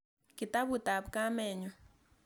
Kitaput ap kamet nyu.